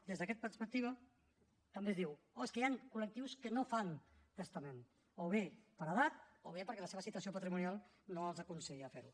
des d’aquesta perspectiva també es diu oh és que hi han col·lectius que no fan testament o bé per edat o bé perquè la seva situació patrimonial no els aconsella ferho